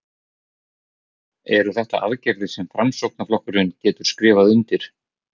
Eru þetta aðgerðir sem að Framsóknarflokkurinn getur skrifað undir?